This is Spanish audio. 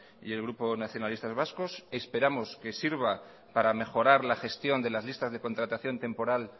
y el grupo nacionalistas vascos esperamos que sirva para mejorar la gestión de las listas de contratación temporal